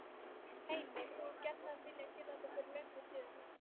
Heimir: Þú hefur gjarnan viljað gera þetta fyrir löngu síðan?